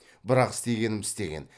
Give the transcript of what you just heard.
бірақ істегенім істеген